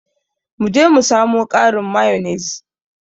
Mu je mu samo ƙarin mayonnaise.